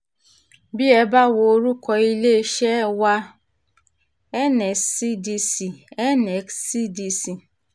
bí ẹ bá wo orúkọ iléeṣẹ́ wa N-S-C-D-C N-S-C-D-C